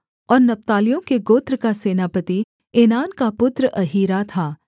और नप्तालियों के गोत्र का सेनापति एनान का पुत्र अहीरा था